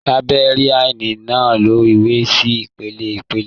Làìbéríànì náà to ìwé sí ìpele ìpele.